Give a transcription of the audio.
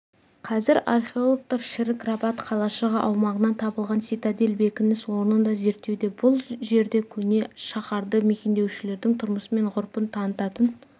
қазір археологтар шірік рабат қалашығы аумағынан табылған цитадель бекініс орнын да зерттеуде бұл жерде көне шаһарды мекендеушілердің тұрмысы мен ғұрпын танытатын